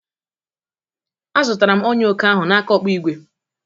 A zụtara m ọnyà oke ahụ n'aka ọkpụigwe